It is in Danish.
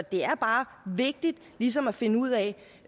det er bare vigtigt ligesom at finde ud af